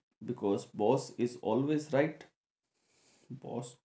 Because boss is always right boss